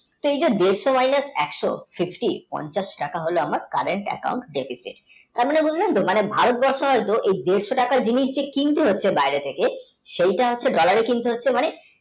সেই জো দেড়শো মাইনাস একশো fifti পঞ্চাশটাকা হলো আমার Current account থেকে তাঁর মানে বুজলেন তো ভারতবর্ষে হয় তো মানে এই দেড়শো টাকার জিনিস যে কিনতে হচ্ছে বাহিরে থেকে সেই টা হচ্ছে dollar কিনতে হচ্ছে মানে